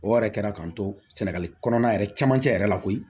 O yɛrɛ kɛra k'an to sɛnɛgali kɔnɔna yɛrɛ camancɛ yɛrɛ la koyi